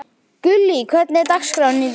Gullý, hvernig er dagskráin í dag?